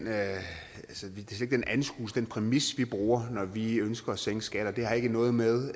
anskuelse den præmis vi bruger når vi ønsker at sænke skatter det er ikke noget med